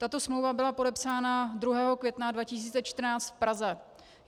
Tato smlouva byla podepsána 2. května 2014 v Praze.